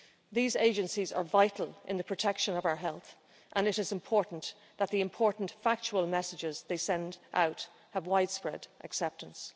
These agencies are vital in the protection of our health and it is important that the important factual messages they send out have widespread acceptance.